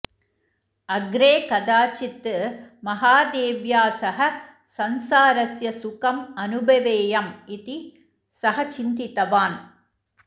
अग्रे कदाचित् महादेव्या सह संसारस्य सुखम् अनुभवेयम् इति सः चिन्तितवान्